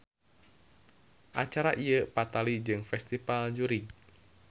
Acara ieu patali jeung festival jurig.